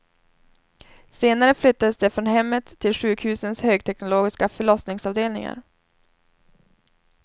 Senare flyttades de från hemmet till sjukhusens högteknologiska förlossningsavdelningar.